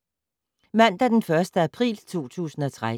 Mandag d. 1. april 2013